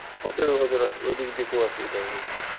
ওদের ওইদিক দিয়ে খুব অসুবিধা হয়ে গেছিলো।